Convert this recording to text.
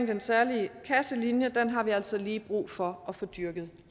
den særlige kasselinje har vi altså lige brug for at få dyrket